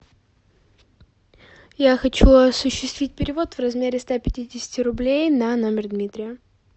я хочу осуществить перевод в размере ста пятидесяти рублей на номер дмитрия